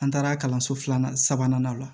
An taara kalanso filanan sabanan o la